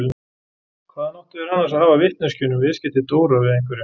Hvaðan áttu þeir annars að hafa vitneskjuna um viðskipti Dóra við einhverja?